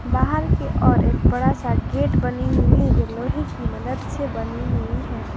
बाहर के और एक बड़ा सा गेट बनी हुई है जो लोहे की मदद से बनी हुई है।